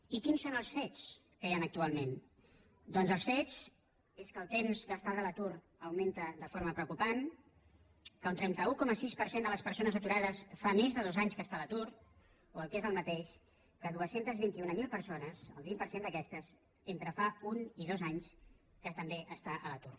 i quins són els fets que hi han actualment doncs els fets són que el temps d’estada a l’atur augmenta de forma preocupant que un trenta un coma sis per cent de les persones aturades fa més de dos anys que està a l’atur o el que és el mateix que dos cents i vint mil persones el vint per cent d’aquestes fa entre un i dos anys que també està a l’atur